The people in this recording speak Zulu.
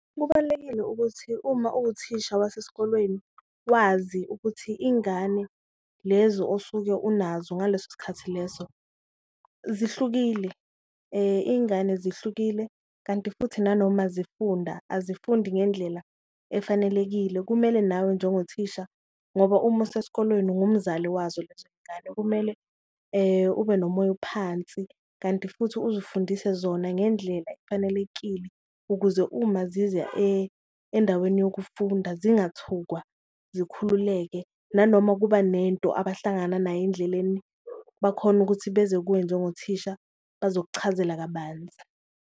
Kubalulekile ukuthi uma uwuthisha wasesikolweni wazi ukuthi ingane lezo osuke unazo ngaleso sikhathi leso zihlukile, ingane zihlukile kanti futhi nanoma zifunda azifundi ngendlela efanelekile. Kumele nawe njengothisha ngoba uma useskolweni ungumzali wazo lezo ngane kumele ube nomoya phansi, kanti futhi uzifundise zona ngendlela efanelekile ukuze uma ziza endaweni yokufunda zingathukwa zikhululeke. Nanoma kuba nento abahlangana nayo endleleni bakhone ukuthi beze kuwe njengothisha bazokuchazela kabanzi.